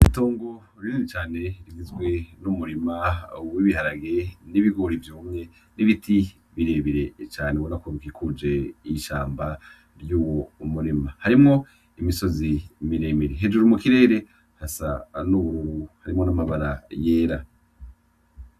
Itongo rinini cane rigizwe n'umurima w'ibiharage n'ibigori vyumye n'ibiti birebire cane ubona ko bikikuje ishamba ry'uwo murima. Harimwo imisozi miremire, hejuru mu kirere hasa n'ubururu, harimwo n'amabara yera.